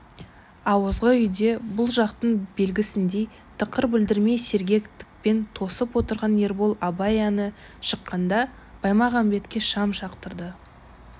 ауызғы үйде бұл жақтың белгісіндей тықыр білдірмей сергектікпен тосып отырған ербол абай әні шыққанда баймағамбетке шам жақтырды